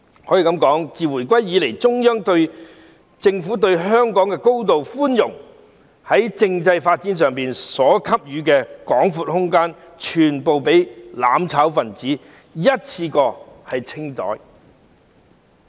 可以說，自回歸以來，中央政府對香港高度寬容，在政制發展上所給予的廣闊空間，全部被"攬炒"分子一次過"清袋"。